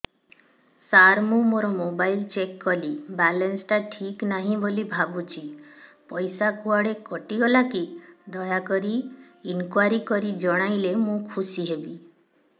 ସାର ମୁଁ ମୋର mobile check କଲି ବାଲାନ୍ସ ଟା ଠିକ ନାହିଁ ବୋଲି ଭାବୁଛି ପଇସା କୁଆଡେ କଟି ଗଲା କି ଦୟାକରି ଇନକ୍ୱାରି କରି ଜଣାଇଲେ ମୁଁ ଖୁସି ହେବି